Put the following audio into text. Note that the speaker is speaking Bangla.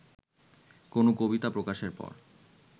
কোন কবিতা প্রকাশের পর